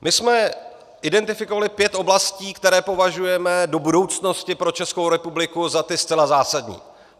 My jsme identifikovali pět oblastí, které považujeme do budoucnosti pro Českou republiku za ty zcela zásadní.